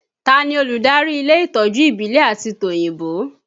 Ta ni olùdarí ilé ìtọ́jú ìbílẹ̀ àti tòyìnbó?